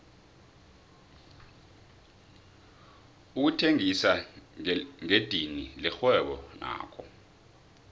ukuthengisa ngedidini lirhwebo nakho